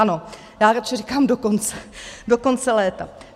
Ano, já radši říkám do konce, do konce léta.